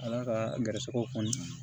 Ala ka garisigɛw kɔni